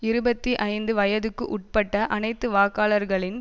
இருபத்தி ஐந்து வயதுக்கு உட்பட்ட அனைத்து வாக்காளர்களின்